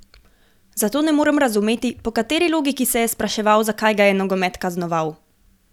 Zato ne morem razumeti, po kateri logiki se je spraševal, zakaj ga je nogomet kaznoval?